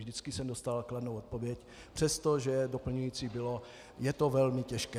Vždycky jsem dostal kladnou odpověď, přestože doplňující bylo, je to velmi těžké.